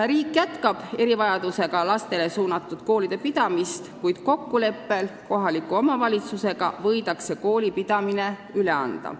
Riik jätkab erivajadustega lastele mõeldud koolide pidamist, kuid kokkuleppel kohaliku omavalitsusega võib koolipidamise üle anda.